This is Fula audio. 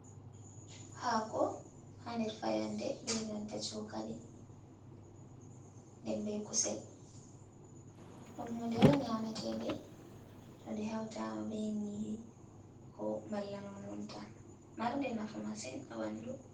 Hako ha nder fayannde. Be nanta shookali. Nden be kusel. Ɗum hunde on nyamete nde to nde hautama be nyiri, ko malla nonnon tan. Marnde nafu masin ha ɓandu.